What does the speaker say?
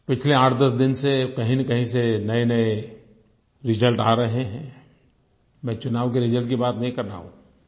पिछले आठदस दिन से कहींनकहीं से नयेनये रिजल्ट आ रहे हैंI मैं चुनाव के रिजल्ट की बात नहीं कर रहा हूँ